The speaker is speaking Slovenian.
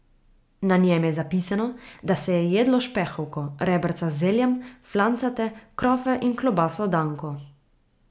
Na njem je zapisano, da se je jedlo špehovko, rebrca z zeljem, flancate, krofe in klobaso danko.